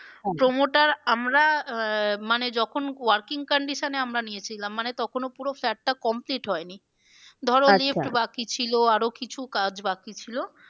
promoter আমরা আহ মানে যখন working condition এ আমরা নিয়েছিলাম মানে তখনো flat টা complete হয়নি। বাকি ছিল আরো কিছু কাজ বাকি ছিল।